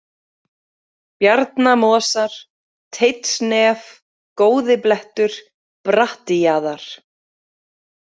Bjarnamosar, Teitsnef, Góði-Blettur, Bratti-Jaðar